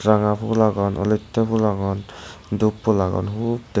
ranga fhul agon elotte fhul agon dhup fhul agon.